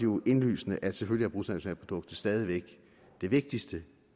jo indlysende at selvfølgelig er bruttonationalproduktet stadig væk det vigtigste